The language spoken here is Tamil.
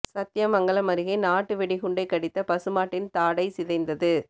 சத்தியமங்கலம் அருகே நாட்டு வெடிகுண்டை கடித்த பசு மாட்டின் தாடை சிதைந்தது